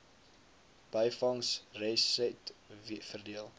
byvangs resetwe verdeel